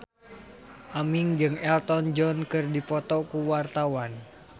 Aming jeung Elton John keur dipoto ku wartawan